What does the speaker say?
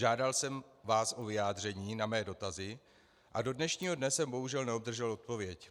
Žádal jsem vás o vyjádření na své dotazy, a do dnešního dne jsem, bohužel, neobdržel odpověď.